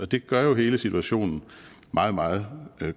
det gør jo hele situationen meget meget